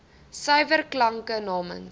suiwer klanke namens